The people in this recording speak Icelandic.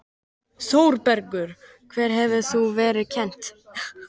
ÞÓRBERGUR: Hvað hefur þér þá verið kennt?